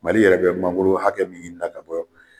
Mali yɛrɛ bɛ mangolo hakɛ min ta ka bɔ